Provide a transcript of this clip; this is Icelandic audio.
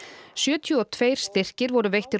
sjötíu og tveir styrkir voru veittir úr